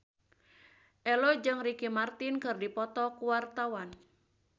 Ello jeung Ricky Martin keur dipoto ku wartawan